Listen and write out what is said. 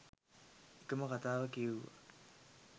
එකම කතාව කියෙව්වා.